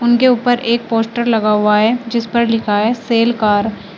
उनके ऊपर एक पोस्टर लगा हुआ है जिस पर लिखा है सेल कार ।